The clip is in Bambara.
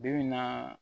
Bi bi in na